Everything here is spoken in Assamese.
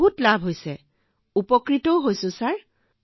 এটাৰ পিছত আনটো লাভ ছাৰ